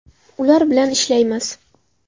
Ular bilan ishlaymiz.